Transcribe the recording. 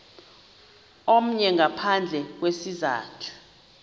omnye ngaphandle kwesizathu